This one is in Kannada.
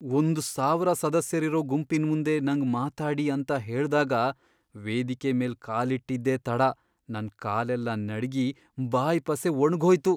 ಒಂದ್ ಸಾವರ ಸದಸ್ಯರಿರೋ ಗುಂಪಿನ್ಮುಂದೆ ನಂಗ್ ಮಾತಾಡಿ ಅಂತ ಹೇಳ್ದಾಗ ವೇದಿಕೆ ಮೇಲ್ ಕಾಲಿಟ್ಟಿದ್ದೇ ತಡ ನನ್ ಕಾಲೆಲ್ಲ ನಡ್ಗಿ, ಬಾಯ್ ಪಸೆ ಒಣ್ಗ್ಹೋಯ್ತು.